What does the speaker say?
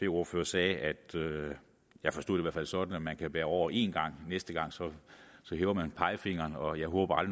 ordførere sagde jeg forstod det i hvert fald sådan at man kan bære over en gang næste gang hæver man pegefingeren og jeg håber